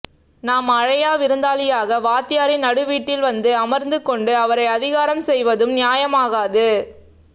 நாம் அலையா விருந்தாளியாக வாத்தியாரின் நடு வீட்டில் வந்தமர்ந்துக் கொண்டு அவரை அதிகாரம் செய்வதும் நியாயமாகாது